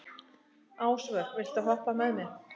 Ásvör, viltu hoppa með mér?